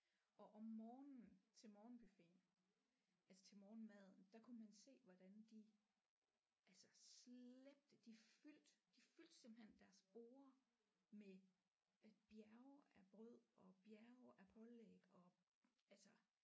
Og om morgenen til morgenbuffeten altså til morgenmaden der kunne man se hvordan de altså slæbte de fyldte de fyldte simpelthen deres borde med bjerge af brød og bjerge af pålæg og altså